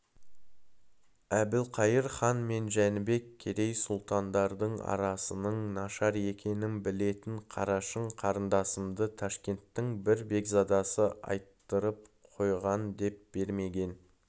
әбілқайыр хан мен жәнібек керей сұлтандардың арасының нашар екенін білетін қарашың қарындасымды ташкенттің бір бекзадасы айттырып қойғандеп бермеген